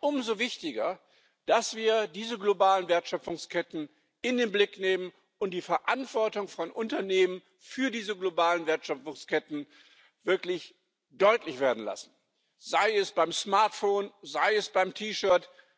umso wichtiger, dass wir diese globalen Wertschöpfungsketten in den Blick nehmen und die Verantwortung von Unternehmen für diese globalen Wertschöpfungsketten wirklich deutlich werden lassen, sei es beim Smartphone, sei es beim T Shirt.